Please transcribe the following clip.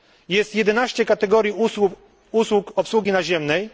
Jest 11 kategorii usług obsługi naziemnej.